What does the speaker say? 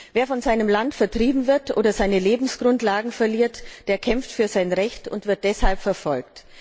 Wer von seinem Land vertrieben wird oder seine Lebensgrundlagen verliert, der kämpft für sein Recht und wird deshalb verfolgt.